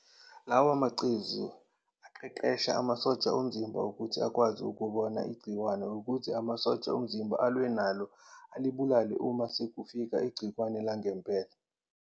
Lawa macezu aqeqesha amasosha omzimba ukuthi akwazi ukubona igciwane ukuze amasosha omzimba alwe nalo alibulale uma sekufika igciwane langempela.